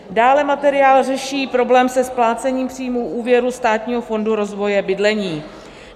Dále materiál řeší problém se splácením příjmů úvěru Státního fondu rozvoje bydlení.